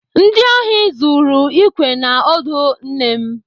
Ndị ohi zuru ikwe na ọdụ nne m.